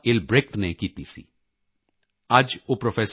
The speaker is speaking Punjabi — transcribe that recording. ਏਲਬ੍ਰੇਕਟ ਨੇ ਕੀਤੀ ਸੀ ਅੱਜ ਉਹ ਪ੍ਰੋ